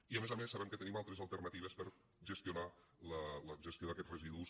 i a més a més sabem que tenim altres alternatives per a gestionar la gestió d’aquests residus